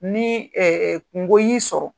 Ni kungo y'i sɔrɔ